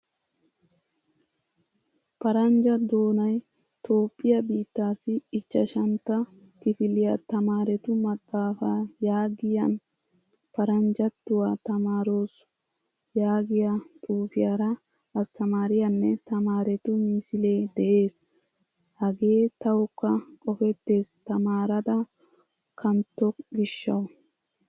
Paranjja doonay toophphiyaa biittassi ichchashshantta kifiliyaa tamarettu maxaafaa yaagiyan paranjjatuwa tamaaroos yaagiyaa xuufiyaara asttamaariyanne tamaretu misile de'ees. Hagee tawukka qofettees tamaarada kantto gishshawu.